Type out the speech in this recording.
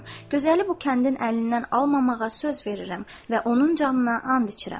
Gözəli bu kəndin əlindən almamağa söz verirəm və onun canına and içirəm.